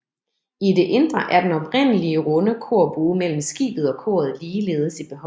I det indre er den oprindelige runde korbue mellem skibet og koret ligeledes i behold